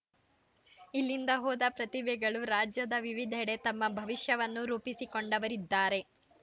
ಇಲ್ಲಿಂದ ಹೋದ ಪ್ರತಿಭೆಗಳು ರಾಜ್ಯದ ವಿವಿಧೆಡೆ ತಮ್ಮ ಭವಿಷ್ಯವನ್ನು ರೂಪಿಸಿಕೊಂಡವರಿದ್ದಾರೆ